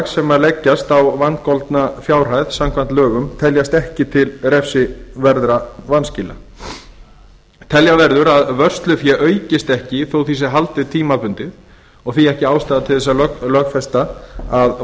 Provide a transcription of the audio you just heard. sem leggjast á vangoldna fjárhæð samkvæmt lögum teljast ekki til refsiverðra vanskila telja verður að vörslufé aukist ekki þó því sé haldið tímabundið og því ekki ástæða til að lögfesta að